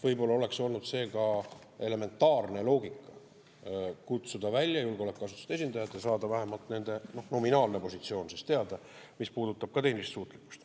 Võib-olla oleks olnud see ka elementaarne loogika kutsuda välja julgeolekuasutuste esindajad ja saada teada vähemalt nende nominaalne positsioon, mis puudutab tehnilist suutlikkust.